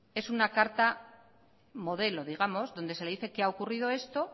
es una carta modelo digamos donde se le dice que ha ocurrido esto